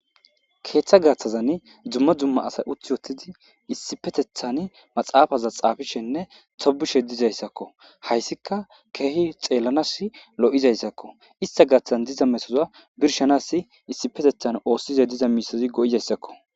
Keeththa gaththazan dumma dumma asay uthi uttidi issipetethan maxaafaza xaafishenne tobishe dizayssakko. Hayssika keehi xeellanas lo'iza issakko. Issta gaaththazn diza metoza birshanassi issipetethan oossize diza miisazi go'iza issakko.